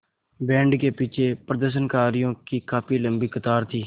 band के पीछे प्रदर्शनकारियों की काफ़ी लम्बी कतार थी